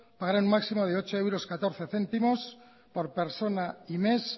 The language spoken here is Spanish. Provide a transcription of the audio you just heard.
pagarán un máximo de ocho euros catorce céntimos por persona y mes